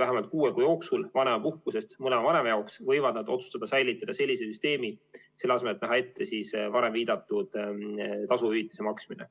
vähemalt kuue kuu jooksul vanemapuhkusest mõlema vanema jaoks, võivad nad otsustada säilitada sellise süsteemi, selle asemel, et näha ette varem viidatud tasu hüvitise maksmine.